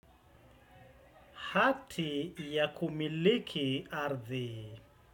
Hati ya kumiliki ardhi.